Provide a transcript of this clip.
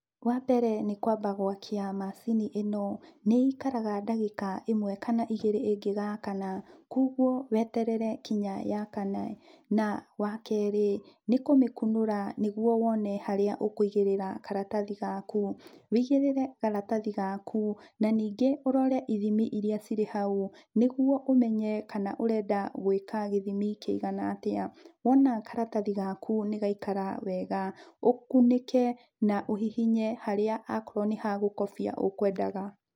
Wambere nĩkwamba gwakia macini ĩno. Nĩikaraga ndagĩka ĩmwe kana igĩrĩ ĩngĩgakana, kwoguo weterere nginya yakane. Na wakerĩ, nĩkũmĩkunũra nĩguo wone harĩa ũkũigĩrĩra karatathi gaku, wigĩrĩre karatathi gaku, na ningĩ ũrore ithimi iria cirĩhau, nĩguo ũmenye kana ũrenda gwĩka gĩthimi kĩigana atĩa. Wona karatathi gaku nĩgaikara wega, ũkunĩke na ũhihinye harĩa akorwo nĩ hagũkobia ũkwendaga.